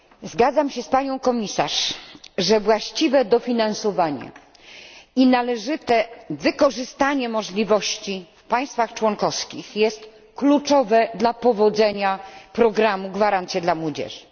Zgadzam się z panią komisarz, że właściwe dofinansowanie i należyte wykorzystanie możliwości w państwach członkowskich jest kluczowe dla powodzenia programu Gwarancje dla młodzieży.